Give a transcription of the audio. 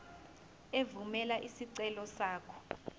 evumela isicelo sakho